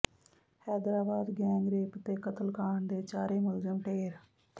Hyderabad gangrape ਤੇ ਕਤਲ ਕਾਂਡ ਦੇ ਚਾਰੇ ਮੁਲਜ਼ਮ ਢੇਰ